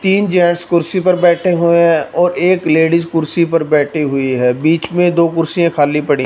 तीन जेंट्स कुर्सी पर बैठे हुए हैं और एक लेडीज कुर्सी पर बैठी हुई है बीच में दो कुर्सी खाली पड़ी--